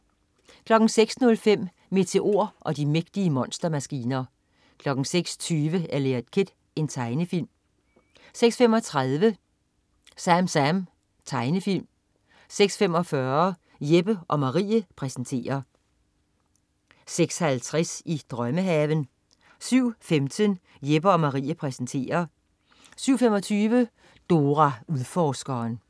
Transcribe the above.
06.05 Meteor og de mægtige monstermaskiner 06.20 Eliot Kid. Tegnefilm 06.35 SamSam. Tegnefilm 06.45 Jeppe & Marie præsenterer 06.50 I drømmehaven 07.15 Jeppe & Marie præsenterer 07.25 Dora Udforskeren